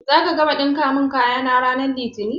Zaka gama ɗinka mun kayana ran litini?